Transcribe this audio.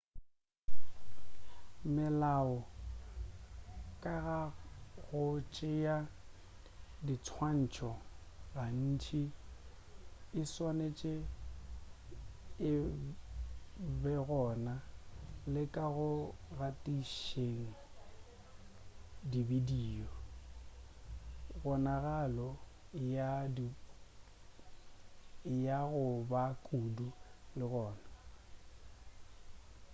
melao ka ga go tšea dinswantšho gantši e swanetše e begona le ka go gatišeng dibidio kgonagalo ya go ba kudu le gona